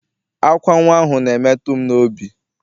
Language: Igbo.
Ákwá nnwa ahụ na-emetụ m n'obi.